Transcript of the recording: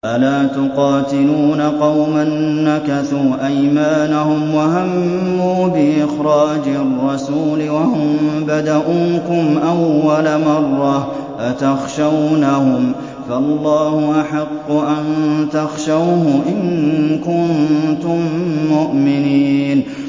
أَلَا تُقَاتِلُونَ قَوْمًا نَّكَثُوا أَيْمَانَهُمْ وَهَمُّوا بِإِخْرَاجِ الرَّسُولِ وَهُم بَدَءُوكُمْ أَوَّلَ مَرَّةٍ ۚ أَتَخْشَوْنَهُمْ ۚ فَاللَّهُ أَحَقُّ أَن تَخْشَوْهُ إِن كُنتُم مُّؤْمِنِينَ